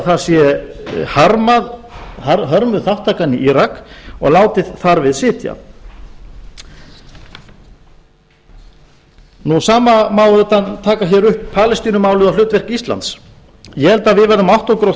það sé hörmuð þátttakan í írak og látið þar við sitja svo má auðvitað taka upp palestínumálið og hlutverk íslands ég held að við verðum að átta okkur á